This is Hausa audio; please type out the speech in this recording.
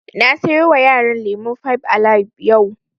Na sayo wa yaran lemun fibe alibe yau